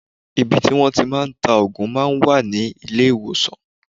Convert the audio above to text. Ibi tí wọ́n tí màá ń ta òògùn máa ń wà ní ilé ìwòsàn.